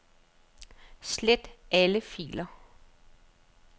Slet alle filer.